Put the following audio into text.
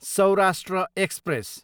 Saurashtra express